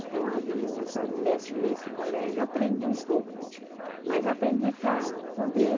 Então, ali, nessa, nessa, nesse colégio, aprendi um pouco, mas aprendi para poder